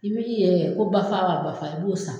I yɛrɛ ye ko bafa wa bafa i b'o san.